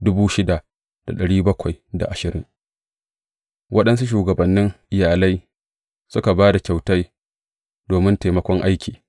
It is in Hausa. Waɗansu shugabannin iyalai suka ba da kyautai domin taimakon aiki.